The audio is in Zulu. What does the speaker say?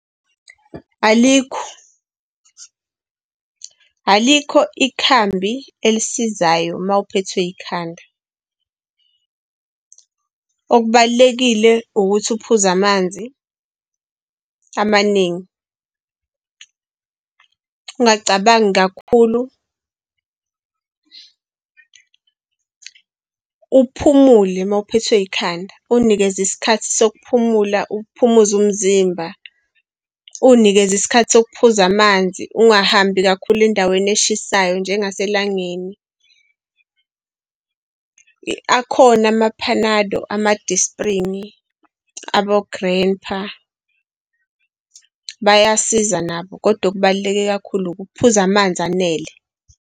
Alikho. Alikho ikhambi elisizayo mawuphethwe ikhanda, okubalulekile ukuthi uphuze amanzi amaningi, ungacabangi kakhulu, uphumule mawuphethwe ikhanda, uy'nikeze isikhathi sokuphumula uphumuze umzimba uy'nikeze isikhathi sokuphuza amanzi, ungahambi kakhulu endaweni eshisayo nje ngaselangeni. Akhona ama-Panado, ama-Disprin abo-Grandpa, bayasiza nabo, kodwa okubaluleke kakhulu ukuphuza amanzi anele.